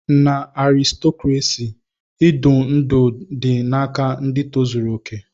Na arịstokrasị, idu ndú dị n'aka ndị tozuru okè.